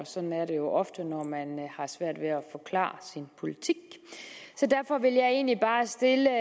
sådan er det ofte når man har svært ved at forklare sin politik derfor vil jeg egentlig bare stille